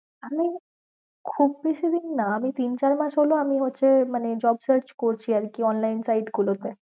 আমি খুব বেশি দিন না, আমি তিন চার মাস হল আমি হচ্ছে মানে job search করছি আর কি online site গুলো তে।